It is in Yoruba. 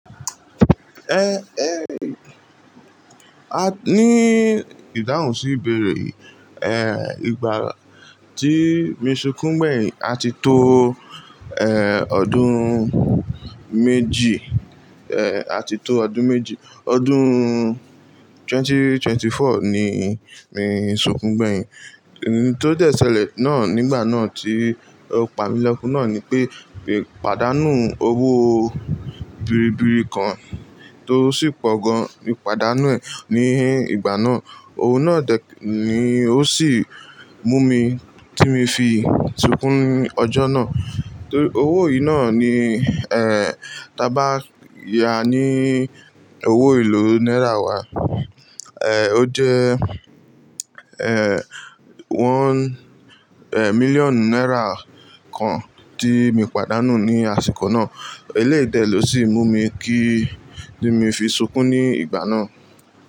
Eh, eh, a ní ìdáhùn sí ìbéèrè yìí. Eh, ìgbà tí mi sunkún gbẹ̀yìn, a ti to, eh, ọdún méjì, eh, a ti tó ọdún méjì. Ọdún twenty twenty four ni mi sunkún gbẹ̀yìn. Ohun tó dẹ́ ṣẹ̀lẹ̀ náà nígbà náà tí ó pa mi lọ́kù náà ni pé, ìpàdánù owó biribiri kan tó sì pọ̀ gan mi ìpàdánù ẹ̀ ní ìgbà náà. Owó náà dẹ̀ ni ó sì mú mi tí mi fi sunkún ní ọjọ́ náà. Torí owó yìí náà ni, eh, tí a bá yá a ní owó ìlú náírà wá, eh, ó jẹ́, eh, one, eh, million náírà kan tí mi pàdánù ní àsìkò náà. Eléyìí dẹ̀ lọ sí mú mi kí tí mi fi sunkún ní ìgbà náà.